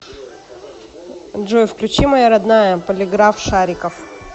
джой включи моя родная полиграф шарикофф